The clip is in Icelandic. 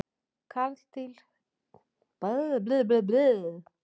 karldýr spendýra hafa ekki öll geirvörtur